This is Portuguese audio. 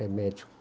É médico.